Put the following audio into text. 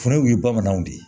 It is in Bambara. Fulaw ye bamananw de ye